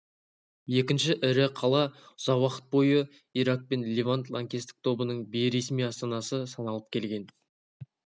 екінші ірі қала ұзақ уақыт бойы ирак пен левант лаңкестік тобының бейресми астанасы саналып келген